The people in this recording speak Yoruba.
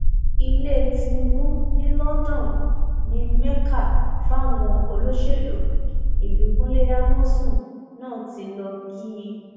ilẹ tìnbù ní london di mẹka fáwọn olóṣèlú ìbíkúnlẹ amọsùn náà tí lọọ kí i